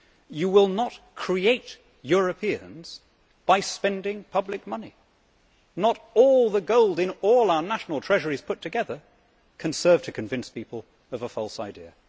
You will not create Europeans by spending public money. Not all the gold in all our national treasuries put together can serve to convince people of a false idea.